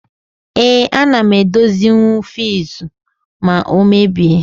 Ee, ana m edozinwu fiuzu ma ọ mebie.